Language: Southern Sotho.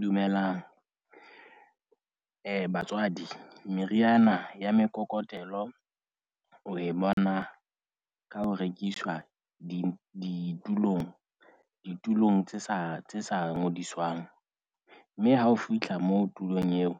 Dumelang. Eh batswadi, meriana ya mekokotelo o e bona ka ho rekiswa di ditulong ditulong tse sa tse sa ngodiswang. Mme ha o fihla moo tulong eo